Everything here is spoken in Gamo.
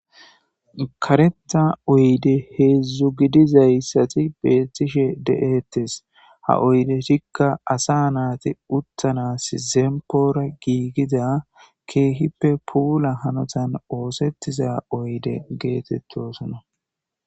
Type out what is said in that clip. Karetha oyde heedzdzu gidizayssati beettishe de7ettes. Ha oydetika asa naati uttanas zempoora giigida keehippe puula hanotan oosettiza oyde geetettosona.